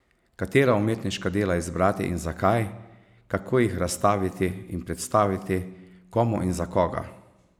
Katera umetniška dela izbrati in zakaj, kako jih razstaviti in predstaviti, komu in za koga?